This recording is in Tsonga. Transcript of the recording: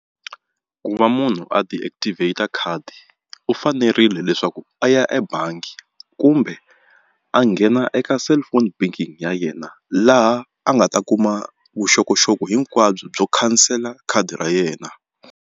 Ku va munhu a deactivate khadi u fanerile leswaku a ya ebangi kumbe a nghena eka cellphone banking ya yena laha a nga ta kuma vuxokoxoko hinkwabyo byo khansela khadi ra yena.